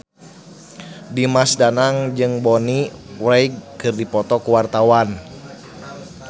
Dimas Danang jeung Bonnie Wright keur dipoto ku wartawan